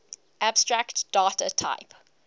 abstract data type